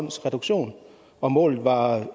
reduktion og målet var